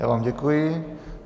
Já vám děkuji.